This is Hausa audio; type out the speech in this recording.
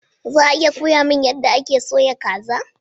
Za a iya koya mani yadda ake soya kaza?